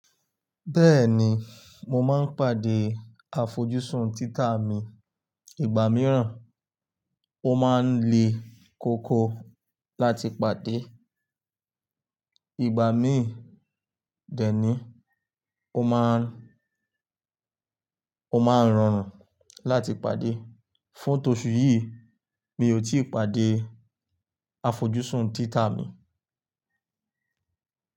Bẹ́ẹ̀ni, mo máa ń pàdé àfojúsùn títà mi. Ìgbà mìíràn, ó máa ń le koko láti pàdé, ìgbà míì dẹ̀ ni, ó máa ń rọrùn láti pàdé. Fún tóṣù yìí, mi ò tíì pàdé àfojúsùn títà mi.